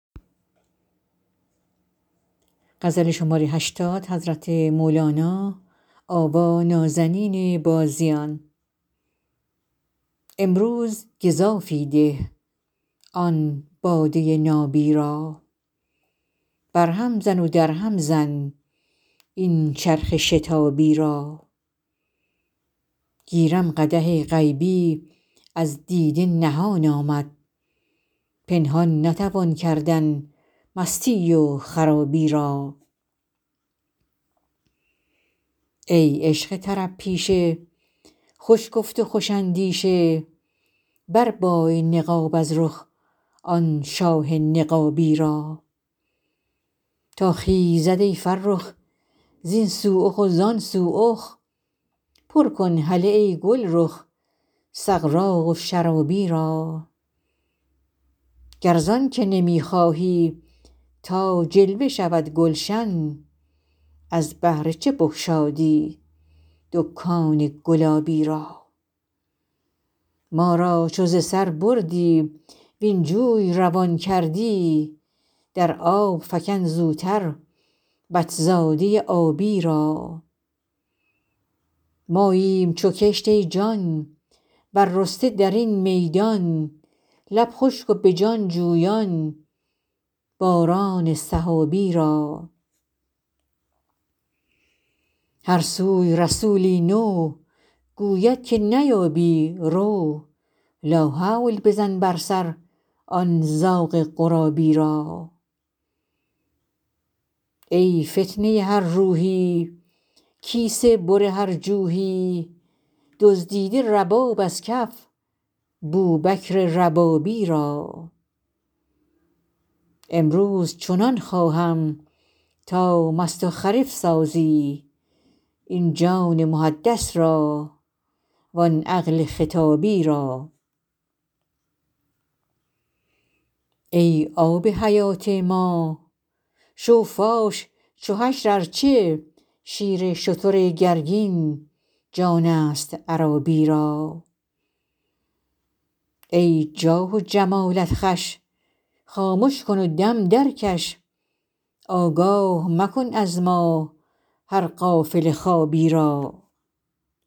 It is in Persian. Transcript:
امروز گزافی ده آن باده نابی را برهم زن و درهم زن این چرخ شتابی را گیرم قدح غیبی از دیده نهان آمد پنهان نتوان کردن مستی و خرابی را ای عشق طرب پیشه خوش گفت خوش اندیشه بربای نقاب از رخ آن شاه نقابی را تا خیزد ای فرخ زین سو اخ و زان سو اخ برکن هله ای گلرخ سغراق و شرابی را گر زان که نمی خواهی تا جلوه شود گلشن از بهر چه بگشادی دکان گلابی را ما را چو ز سر بردی وین جوی روان کردی در آب فکن زوتر بط زاده ی آبی را ماییم چو کشت ای جان بررسته در این میدان لب خشک و به جان جویان باران سحابی را هر سوی رسولی نو گوید که نیابی رو لاحول بزن بر سر آن زاغ غرابی را ای فتنه ی هر روحی کیسه بر هر جوحی دزدیده رباب از کف بوبکر ربابی را امروز چنان خواهم تا مست و خرف سازی این جان محدث را وان عقل خطابی را ای آب حیات ما شو فاش چو حشر ار چه شیر شتر گرگین جانست عرابی را ای جاه و جمالت خوش خامش کن و دم درکش آگاه مکن از ما هر غافل خوابی را